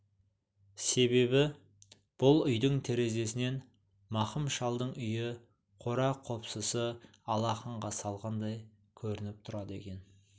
себебі бұл үйдің терезесінен мақым шалдың үйі қора-қопсысы алақанға салғандай көрініп тұрады екен